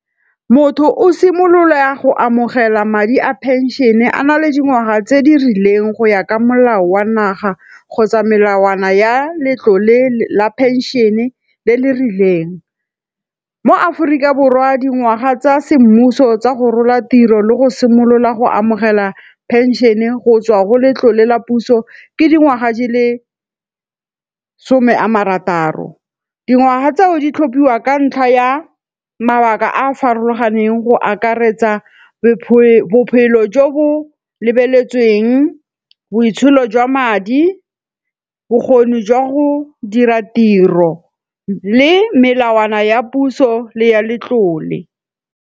Motho o simolola ya go amogela madi a pension-e a na le dingwaga tse di rileng go ya ka molao wa naga kgotsa melawana ya letlole la pension-e le le rileng. Mo Aforika Borwa, dingwaga tsa semmuso tsa go rola tiro le go simolola go amogela pension-e go tswa go letlole la puso ke dingwaga di le some a marataro. Dingwaga tseo di tlhophiwa ka ntlha ya mabaka a a farologaneng go akaretsa bophelo jo bo lebeletsweng, boitsholo jwa madi, bokgoni jwa go dira tiro le melawana ya puso le ya letlole.